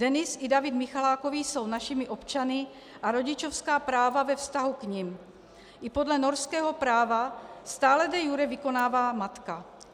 Denis i David Michalákovi jsou našimi občany a rodičovská práva ve vztahu k nim i podle norského práva stále de iure vykonává matka.